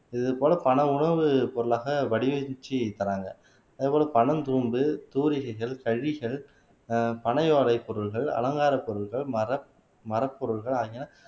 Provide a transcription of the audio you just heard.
இது போல பல உணவுப் பொருளாக வடிவமைச்சு தர்றாங்க அதே போல பனந்தூம்பு தூரிகைகள் ஆஹ் பனை ஓலைப் பொருள்கள் அலங்காரப் பொருள்கள் மரமரப் பொருள்கள் ஆகியன